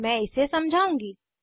मैं इसे समझाउंगी